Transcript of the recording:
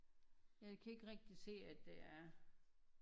Jeg kan ikke rigtig se at det er